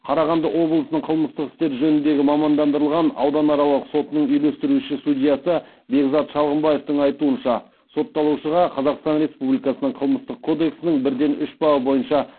қарағанды облысының қылмыстық істер жөніндегі мамандандырылған ауданаралық сотының үйлестіруші судьясы бекзат шалғымбаевтың айтуынша сотталушыға қазақстан республикасы қылмыстық кодексінің бірден үш бабы бойынша